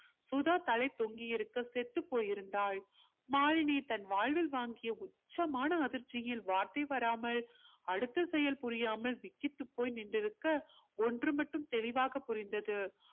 சுதா தலை தொங்கி இருக்க செத்துப் போயிருந்தாள் மாலினி தன் வாழ்வில் வாங்கிய உச்சமான அதிர்ச்சியில் வார்த்தை வராமல் அடுத்த செயல் புரியாமல் விக்கித்து போய் நின்றிருக்க ஒன்று மட்டும் தெளிவாக் புரிந்தது